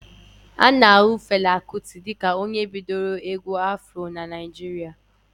A na ahu Fela Kuti dịka onye bidoro egwu Afro n'Naijiria